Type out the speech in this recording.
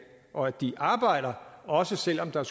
og at de arbejder også selv om der